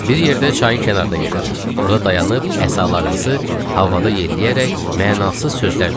Bir yerdə çayın kənarına getdik, orda dayanıb əsalarımızı havada yelləyərək mənasız sözlər dedik.